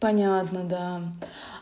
понятно да